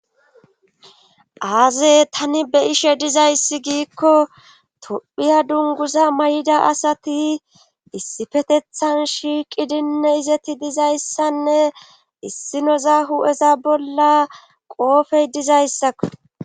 Aazey tani be ishe dizayssi giikko tophiya dunguza may'ida asati issipfetethan shiiqidinne izeti dizayssanne issinoza hu'eza bolla qoofey dizayssaka